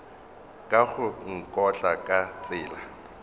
ka go nkotla ka tsela